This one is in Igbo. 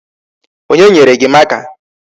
Onye nyere gị marker?